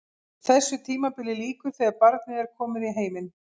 Þessu tímabili lýkur þegar barnið er komið í heiminn.